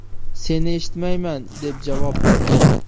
Seni eshitmayman’, deb javob berdi.